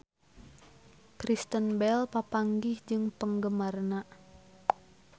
Kristen Bell papanggih jeung penggemarna